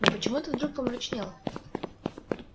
но почему ты вдруг помрачнел